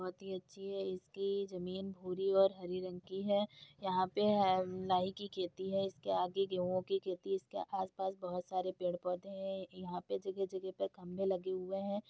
बहुत ही अच्छी है इसकी जमीन भूरी और हरे रंग की है यहाँ पे है नाई की खेती है इसके आगे गेंहू की खेती इसके आसपास बहुत सारे पेड़ पौधे है यहाँ पे जगह-जगह पर खंबे लगे हुए है।